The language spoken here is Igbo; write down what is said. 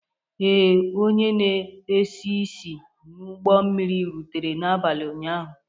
Ee, onye na esi isi n'ụgbọ mmiri rutere n'abalị ụnyaahụ.